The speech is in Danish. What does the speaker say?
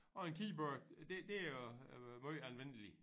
Og en keyboard det det er jo øh måj almindeligt